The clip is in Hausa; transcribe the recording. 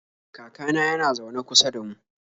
Kakana yana zaune kusa da mu.